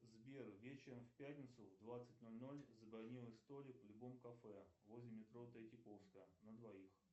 сбер вечером в пятницу в двадцать ноль ноль забронируй столик в любом кафе возле метро третьяковская на двоих